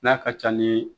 N'a ka ca ni